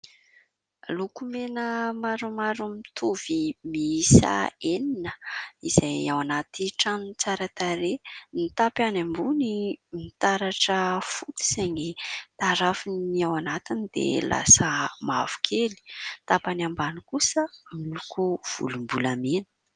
Lokomena maromaro mitovy mihisa enina izay ao anaty tranony tsara tarehy, ny tapany ambony mitaratra fotsy saingy tarafin'ny ao anatiny dia lasa mavokely, ny tapany ambany kosa miloko volom-bolamena.